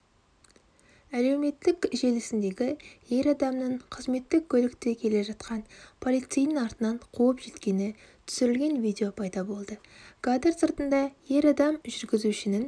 әлеуметтік желісінде ер адамның қызметтік көлікте келе жатқан полицейдің артынан қуып жеткені түсірілген видео пайда болды кадр сыртында ер адам жүргізушінің